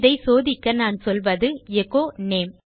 இதை சோதிக்க நான் சொல்வது எச்சோ நேம்